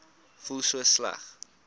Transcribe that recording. voel so sleg